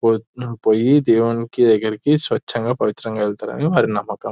పోయి దేవునులకి దగ్గరికి స్వచంగా పవిత్రంగా వెళ్తారని వారి నమ్మకం